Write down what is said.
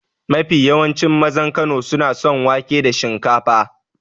Mafi yawancin mazan Kano suna son wake da shinkafa.